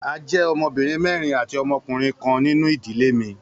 A jẹ ọmọbirin mẹrin ati ọmọkunrin kan ninu idile mi.